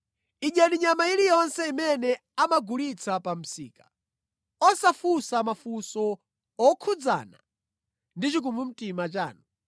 Idyani nyama iliyonse imene amagulitsa pa msika, osafunsa mafunso okhudzana ndi chikumbumtima chanu.